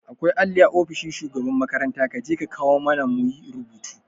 Akwai alli a ofishin shugaban makaranta kaje ka kawo mana muyi rubutu